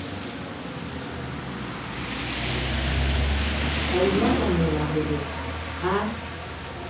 ka inahanela ho re ha